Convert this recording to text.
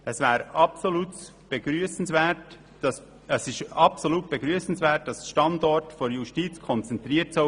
Es ist absolut begrüssenswert, dass der Standort der JGK konzentriert wird.